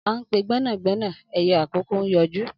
An pe gbena - gbena ẹyẹ akoko n yọju.